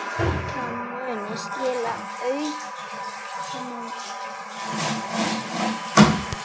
Það muni skila auknum tekjum.